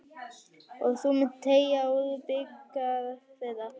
Og þú munt teyga úr bikar þeirra.